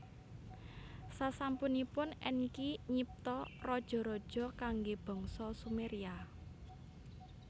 Sasampunipun Enki nyipta raja raja kangge bangsa Sumeria